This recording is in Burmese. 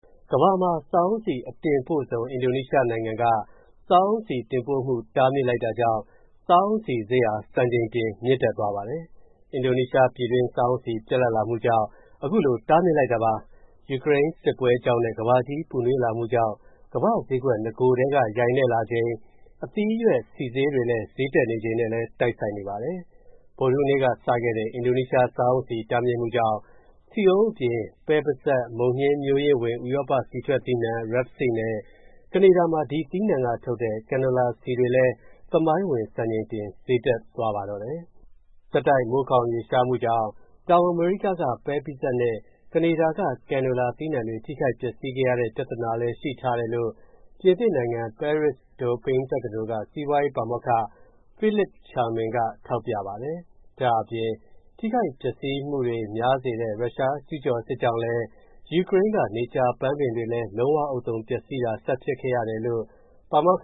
ကမ္ဘာမှာ စားအုန်းဆီ အတင်ပို့ဆုံး အင်ဒိုနီးရှားနိုင်ငံက စားအုန်းဆီတင်ပို့မှု တားမြစ်လိုက်တာကြောင့် စားအုန်းဆီဈေးဟာ စံချိန်တင် မြင့်တက်သွားပါတယ်။ အင်ဒိုနီးရှား ပြည်တွင်း စားအုန်းဆီ ပြတ်လပ်လာမှုကြောင့် အခုလို တားမြစ်လိုက်တာပါ။ ယူကရိန်းစစ်ပွဲကြောင့်နဲ့ ကမ္ဘာကြီးပူနွေးလာမှုကြောင့် ကမ္ဘာ့ဈေးကွက် နဂိုတည်းက ယိုင်နဲ့လာချိန် အသီးအရွက်ဆီဈေးတွေ ဈေးတက်နေချိန်နဲ့လည်း တိုက်ဆိုင်နေပါတယ်။ ဗုဒ္ဓဟူးနေ့ကစတဲ့ အင်ဒိုနီးရှား စားအုန်းဆီ တားမြစ်မှုကြောင့် ဆီအုန်းအပြင် ပဲပိစပ်၊ မုန်ညှင်းမျိုးရင်းဝင် ဥရောပ ဆီထွက်သီးနှံ Rapeseed နဲ့ ကနေဒါမှာ ဒီသီးနှံကထုတ်တဲ့ Canola ဆီတွေလည်း သမိုင်းဝင် စံချိန်တင် ဈေးတက်သွားပါတယ်။ ဆက်တိုက် မိုးခေါင်ရေရှားမူကြောင့် တောင်အမေရိကက ပဲပိစပ်နဲ့ ကနေဒါက Canola သီးနှံတွေ ထိခိုက်ပျက်စီးခဲ့ရတဲ့ ပြဿနာကလည်း ရှိထားတယ်လို့ ပြင်သစ်နိုင်ငံ Paris-Dauphine တက္ကသိုလ်က စီးပွားရေးပါမောက္ခ Philippe Chalmin က ထောက်ပြပါတယ်။ ဒါ့အပြင် ထိခိုက်ပျက်စီးမှုများစေတဲ့ ရုရှားကျုးကျော်စစ်ကြောင့်လည်း ယူကရိန်းက နေကြာပန်းပင်တွေလည်း လုံးဝဥဿုံ ပျက်စီးတာ ဆက်ဖြစ်ခဲ့ရတယ်လို့ ပါမောက္